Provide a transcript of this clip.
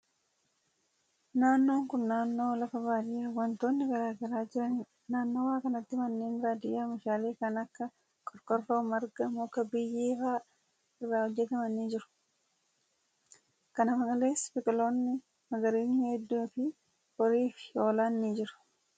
Naannoon kun, naannoo lafa baadiyaa wantoonni garaa garaa jiranii dha. Naannawa kanatti manneen baadiyaa oomishaalee kan akka:qorqorroo, marga, muka, biyyee faa irraa hojjataman ni jiru. Kana malees biqiloonni magariisni hedduun fi horiin fi hoolaan ni jiru.